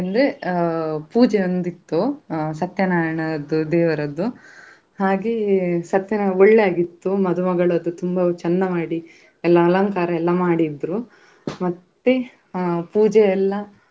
ಆ ಚಿರತೆಗಳು ಎಲ್ಲಾ ನೋಡಿದ್ವಿ ಹಾಗೆ, ನಾವು ಮತ್ತೆ ಮತ್ತೆ ಅದು ಆ ಮೀನು ಸಂಗು~ ಮೀನುಗಳು ಕೂಡ ಇದ್ವು. ಆ ಮೀನುಯೆಲ್ಲಾ ಚಂದ ಚಂದ ಇತ್ತು ಆ ನಾವು ಹೊ~ ಹೋದೆವು ಮತ್ತೇ ಆ ಅಲ್ಲಿ.